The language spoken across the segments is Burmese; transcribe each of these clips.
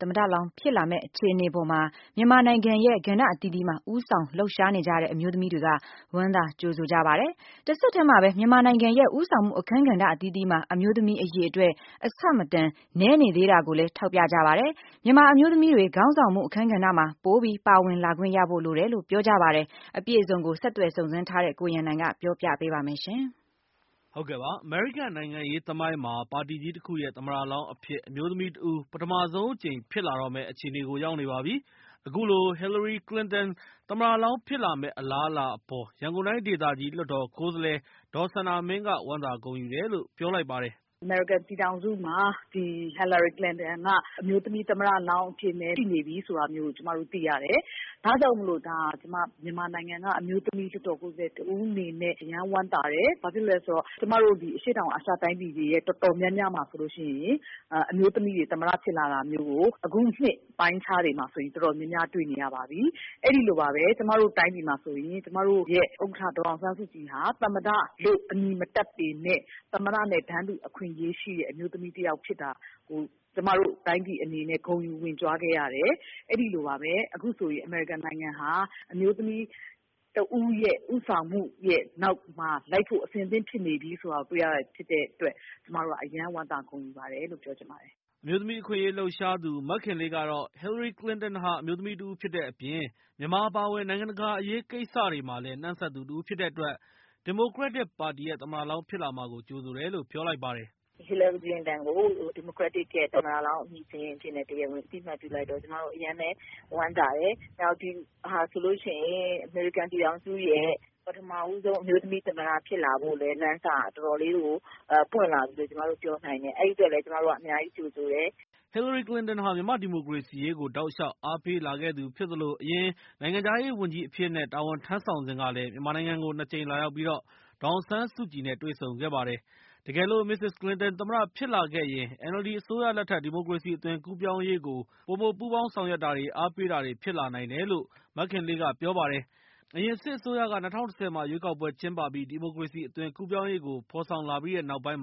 သမ္မတလောင်း ဖြစ်လာမယ့် အခြေအနေအပေါ်မှာ မြန်မာနိုင်ငံရဲ့ ကဏ္ဍအသီးသီးမှာ ဦးဆောင်လှုပ်ရှားနေကြတဲ့ အမျိုးသမီးတွေက ဝမ်းသာကြိုဆိုကြပါတယ်။ တဆက်တည်းမှာပဲ မြန်မာနိုင်ငံရဲ့ ဦးဆောင်မှု အခန်းကဏ္ဍ အသီးသီးမှာ အမျိုးသမီးအရေအတွက် အဆမတန် နည်းနေသေးတာကိုလည်း ထောက်ပြကြပါတယ်။ မြန်မာအမျိုးသမီးတွေ ခေါင်းဆောင်မှု အခန်းကဏ္ဍမှာ ပိုပြီး ပါဝင်လာခွင့်ရဖို့ လိုတယ်လို့ ပြောကြပါတယ်။ အပြည့်အစုံကို ဆက်သွယ်စုံစမ်းထားတဲ့ကိုရန်နိုင်က ပြောပြပေးမှာဖြစ်ပါတယ်။ အမေရိကန် နိုင်ငံရေး သမိုင်းမှာ ပါတီကြီးတခုရဲ့ သမ္မတလောင်းအဖြစ် အမျိုးသမီးတဦး ပထမဆုံးအကြိမ် ဖြစ်လာတော့မယ့် အခြေအနေရောက်နေပါပြီ။ အခုလို ဟီလရီကလင်တန် သမ္မတလောင်းဖြစ်လာမယ့် အလားအလာအပေါ် ရန်ကုန်တိုင်းဒေသကြီး လွှတ်တော်ကိုယ်စားလှယ် ဒေါ်စန္ဒာမင်းက ဝမ်းသာဂုဏ်ယူတယ်လို့ ပြောလိုက်ပါတယ်။ “အမေရိကန်ပြည်ထောင်စုမှာ ဟီလရီကလင်တန်က အမျိုးသမီးသမ္မတလောင်းအဖြစ်နဲ့ သိနေပြီဆိုတာ ကျမတို့သိရတယ်။ ဒါကြောင့်မို့လို့ မြန်မာနိုင်ငံက အမျိုးသမီး လွှတ်တော်ကိုယ်စားလှယ် တဦးအနေနဲ့ အရမ်းဝမ်းသာတယ်။ ဘာဖြစ်လို့လဲဆိုတော့ ကျမတို့ အရှေ့တောင်အာရှ တိုင်းပြည် တော်တော်များများမှာ အမျိုးသမီးတွေ သမ္မတဖြစ်လာတာမျိုးကို အခုနှစ်ပိုင်းတွေမှာဆိုရင် တော်တော်များများတွေ့နေရပါပြီ။ အဲဒီလိုပါပဲ ကျမတို့တိုင်းပြည်မှာဆိုရင် ကျမတို့ရဲ့ ဥက္ကဋ္ဌ ဒေါ်အောင်ဆန်းစုကြည်ဟာ သမ္မတလို့ အမည်မတပ်ပေမယ့် သမ္မတနဲ့ တန်းတူအခွင့်အရေး ရှိတဲ့ အမျိုးသမီးဖြစ်တာကို ကျမတို့ တိုင်းပြည်အနေနဲ့ ဂုဏ်ယူဝင့်ကြွားခဲ့ရတယ်။ အဲဒီလိုပါပဲ အခုဆိုရင် အမေရိကန်နိုင်ငံဟာ အမျိုးသမီးတဦး ဦးဆောင်မှုရဲ့နောက်မှာ လိုက်ဖို့ အဆင်သင့်ဖြစ်နေပြီဆိုတာတွေ့ရတဲ့အတွက် ကျမတို့က အရမ်းဝမ်းသာ ဂုဏ်ယူပါတယ် လို့ပြောချင်ပါတယ်။” အမျိုးသမီး အခွင့်အရေးလှုပ်ရှားသူ မခင်လေးကတော့ - ဟီလရီကလင်တန်ဟာ အမျိုးသမီးတစ်ဦးဖြစ်တဲ့ အပြင် မြန်မာ အပါအဝင် နိုင်ငံတကာ အရေးကိစ္စတွေမှာလည်း နှံ့စပ်သူတဦးဖြစ်တဲ့အတွက် ဒီမိုကရက်ပါတီရဲ့ သမ္မတလောင်းဖြစ်လာမှာကို ကြိုဆိုတယ်လို့ ပြောလိုက်ပါတယ်။ “ဟီလရီကလင်တန်ကို ဒီမိုကရက်တစ်ရဲ့ သမ္မတလောင်း အမည်စာရင်း အဖြစ်နဲ့ တရားဝင်အသိအမှတ်ပြုလိုက်တော့ ကျမတို့အရမ်းပဲ ဝမ်းသာတယ်။ နောက်ဒီဟာဆိုရင် အမေရိကန်ပြည်ထောင်စုရဲ့ ပထမဆုံး အမျိုးသမီး သမ္မတ ဖြစ်လာဖို့လည်း လမ်းစက တော်တော်လေးပွင့်လာပြီလို့လည်း ကျမတို့ပြောနိုင်တယ်။ အဲဒီအတွက်လည်း ကျမတို့က အများကြီးကြိုဆိုတယ်။” ဟီလရီကလင်တန်ဟာ မြန်မာ့ဒီမိုကရေစီရေးကိုလည်း တောက်လျှောက်အားပေးလာခဲ့သူဖြစ်သလို အရင် နိုင်ငံခြားရေးဝန်ကြီးအဖြစ်နဲ့ တာဝန် ထမ်းဆောင်စဉ် မြန်မာနိုင်ငံကို ၂ ကြိမ် လာရောက်ပြီး ဒေါ်အောင်ဆန်းစုကြည် နဲ့တွေ့ဆုံခဲ့ပါတယ်။ တကယ်လို့ မစ္စစ်ကလင်တန် သမ္မတဖြစ်လာခဲ့ရင် NLD အစိုးရလက်ထက် ဒီမိုကရေစီ အသွင်ကူးပြောင်းရေးကို ပိုမို ပူးပေါင်းဆောင်ရွက်မှုတွေ၊ အားပေးမှုတွေ ဖြစ်လာနိုင်တယ်လို့ မခင်လေးက ပြောပါတယ်။ အရင်စစ်အစိုးရက ၂၀၁၀ မှာ ရွေးကောက်ပွဲကျင်းပပြီး ဒီမိုကရေစီ အသွင်ကူးပြောင်းရေးကို ဖော်ဆောင် လာပြီးတဲ့နောက်ပိုင်း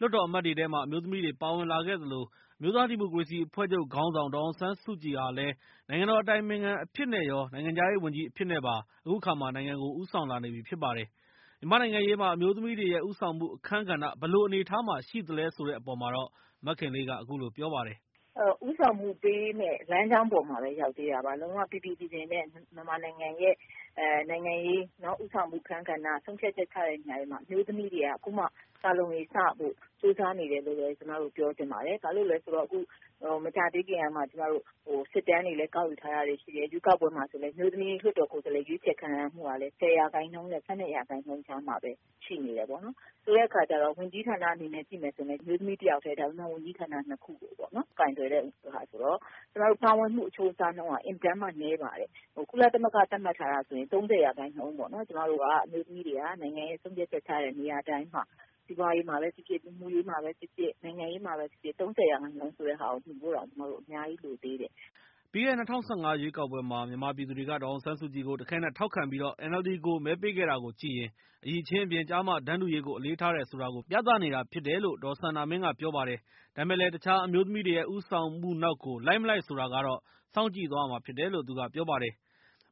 လွှတ်တော်အမတ်တွေထဲမှာ အမျိုးသမီးတွေပါဝင်လာခဲ့သလို အမျိုးသားဒီမိုကရေစီအဖွဲ့ချုပ် ခေါင်းဆောင် ဒေါ်အောင်ဆန်းစုကြည်ဟာလည်း နိုင်ငံတော် အတိုင်ပင်ခံပုဂ္ဂိုလ် အဖြစ်နဲ့ရော နိုင်ငံခြားရေးဝန်ကြီး အဖြစ်နဲ့ပါ နိုင်ငံကိုဦးဆောင်လာနေပြီဖြစ်ပါတယ်။ မြန်မာ့နိုင်ငံရေးမှာ အမျိုးသမီးတွေရဲ့ ဦးဆောင်မှုအခန်းကဏ္ဍမှာ ဘယ်လိုအနေအထားမှာ ရှိသလဲဆိုတဲ့ အပေါ်မှာတော့ မခင်လေးက အခုလိုပြောပါတယ်။ “ဦးဆောင်မှုပေးမယ့် လမ်းကြောင်းပေါ်မှာပဲ ရောက်သေးတာပါ။ လုံးဝပီပီပြင်ပြင်နဲ့ မြန်မာနိုင်ငံရဲ့ နိုင်ငံရေးဦးဆောင်မှု အခန်းကဏ္ဍ ဆုံးဖြတ်ချက်ချတဲ့နေရာတွေမှာ အမျိုးသမီးတွေက အခုမှ “စ လုံးရေ စ” ဖို့ ကြိုးစားနေတယ်လို့ပဲ ပြောချင်ပါတယ်။ ဘာလို့လဲဆိုတော့အခု မကြာသေးခင်ကမှ ကျမတို့ စစ်တမ်းတွေလည်း ကောက်ယူထားတာရှိတယ်။ ရွေးကောက်ပွဲမှာလည်း အမျိုးသမီးလွှတ်တော်ကိုယ်စားလှယ်ရွေးချယ်ခံရမူကလည်း ၁၀ ရာခိုင်နှုန်းနဲ့ ၁၂ ရာခိုင်နှုန်းကြားထဲမှာပဲ ရှိနေတယ်ပေါ့နော်။ ဆိုတဲ့အခါကျတော့ ဝန်ကြီးဌာနနဲ့ ကြည့်မယ်ဆိုရင်လည်း အမျိုးသမီးတယောက်ထဲ ဒါပေမယ့် ဝန်ကြီးဌာန နှစ်ခုကို ကိုင်တွယ်တာဆိုတော့ ပါဝင်မှုအချိုးအစားနှုန်းဟာ အင်မတန်မှ နည်းပါတယ်။ ကုလသမဂ္ဂ သတ်မှတ်ထားတာ ဆိုရင် ၃၀ ရာခိုင်နှုန်းပေါ့နော်။ ကျမတို့ အမျိုးသမီးတွေက နိုင်ငံရေး ဆုံးဖြတ်ချက်ချတဲ့ နေရာတိုင်းမှာ စီးပွားရေးမှာဖြစ်ဖြစ်၊ လူမှုရေးမှာဖြစ်ဖြစ် ၊ နိုင်ငံရေးမှာဖြစ်ဖြစ် ၃၀ ရာခိုင်နှုန်းဆိုတာ မီဖို့တောင် အများကြီးလိုသေးတယ်။” ပြီးခဲ့တဲ့ ၂၀၁၅ ရွေးကောက်ပွဲမှာ မြန်မာပြည်သူတွေက ဒေါ်အောင်ဆန်းစုကြည်ကို တခဲနက်ထောက်ခံပြီး NLD ကိုမဲပေးခဲ့တာကိုကြည့်ရင် အရည်အချင်း အပြင် ကျား-မ တန်းတူရေးကို အလေးထားတယ် ဆိုတာကိုလည်း ပြသနေတာဖြစ်တယ် လို့လည်း ပြောပါတယ်။ ဒါပေမဲ့လည်း တခြားအမျိုးသမီးတွေရဲ့ ဦးဆောင်မှုနောက်ကို လိုက်မလိုက်ဆိုတာကတော့ စောင့်ကြည့်သွားရမှာဖြစ်တယ်လို့ ဒေါ်စန္ဒာမင်းကပြောပါတယ်။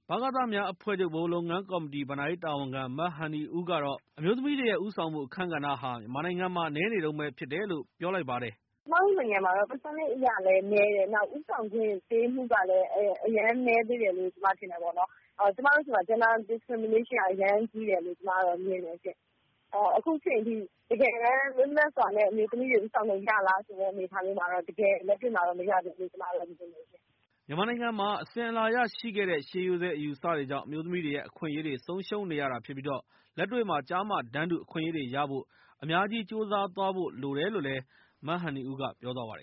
ဗကသများအဖွဲ့ချုပ် ဗဟိုလုပ်ငန်းကော်မတီ ဘဏ္ဍာရေးတာဝန်ခံ မဟန်နီဦးကတော့ အမျိုးသမီးတွေရဲ့ ဦးဆောင်မှုအခန်းကဏ္ဍဟာ မြန်မာနိုင်ငံမှာ နည်းနေတုန်းပဲဖြစ်တယ်လို့ ပြောလိုက်ပါတယ်။ “ကျမတို့နိုင်ငံမှာတော့ Percentage အရလည်း နည်းတယ်။ ဦးဆောင်ခွင့် ပေးမှုကလည်း အရမ်းနည်းသေးတယ်လို့ ကျမထင်တယ်ပေါ့နော်။ ကျမတို့ဆီမှာ gender discrimination က အရမ်းကြီးတယ်လို့ ကျမမြင်တယ်ရှင့်။ အခုအချိန်အထိ တကယ်တမ်း လွတ်လပ်စွာနဲ့ အမျိုးသမီးတွေ ဦးဆောင်လို့ရလားဆိုတဲ့ အနေအထားမျိုးတော့ တကယ့် လက်တွေ့မှာတော့ မရသေးဘူးရှင့်။” မြန်မာနိုင်ငံမှာ အစဉ်အလာအရရှိခဲ့တဲ့ ရှေးရိုးစွဲ အယူအဆတွေကြောင့် အမျိုးသမီးတွေရဲ့ အခွင့်အရေးတွေ ဆုံးရှုံးနေရတာဖြစ်ပြီး လက်တွေ့မှာ ကျား-မ တန်းတူအခွင့်အရေးရဖို့ အများကြီး ကြိုးစားဖို့လိုတယ်လို့ သူကပြောသွားပါတယ်